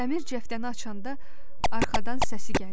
Dəmir cəftəni açanda arxadan səsi gəldi.